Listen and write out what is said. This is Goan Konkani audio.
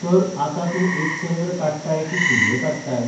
तर आतां तूं एक चंद्र काडटाय कि सुर्य काडताय.